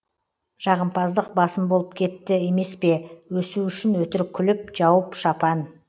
жағымпаздық басым болып кетті емеспе өсу үшін өтірік күліп жауып шапан